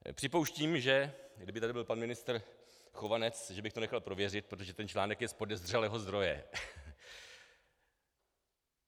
Připouštím, že kdyby tady byl pan ministr Chovanec, že bych to nechal prověřit, protože ten článek je z podezřelého zdroje.